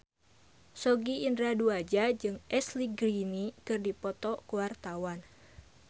Sogi Indra Duaja jeung Ashley Greene keur dipoto ku wartawan